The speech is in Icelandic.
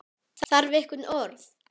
Þarf einhver orð?